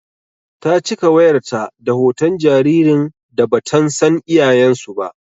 Ta cika wayar ta da hoton jaririn da batan san iyayen su ba.